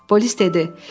Polis dedi: